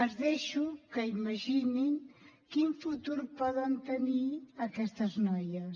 els deixo que imaginin quin futur poden tenir aquestes noies